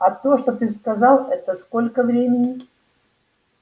а то что ты сказал это сколько времени